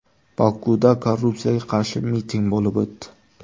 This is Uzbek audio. Bokuda korrupsiyaga qarshi miting bo‘lib o‘tdi.